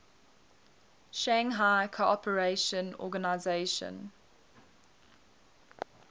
shanghai cooperation organization